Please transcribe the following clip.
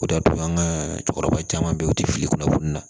O de y'a to an ka cɛkɔrɔba caman bɛ yen u tɛ fili kunnafoni na